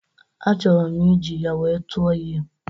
Achọrọ m iji ya wee tụọ ihe.